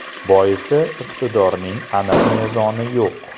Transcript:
Boisi iqtidorning aniq mezoni yo‘q.